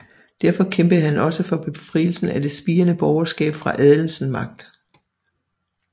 Derfor kæmpede han også for befrielsen af det spirende borgerskab fra adelens magt